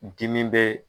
Dimi bɛ